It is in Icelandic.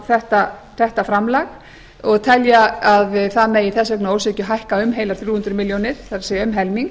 á þetta framlag og telja að það megi þess vegna að ósekju hækka um heilar þrjú hundruð milljónir það er um helming